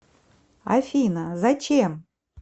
афина зачем